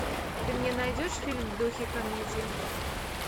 ты мне найдешь фильм в духе комедии